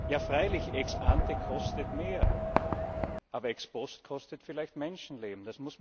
Ja freilich, ex ante kostet mehr, aber ex post kostet vielleicht Menschenleben.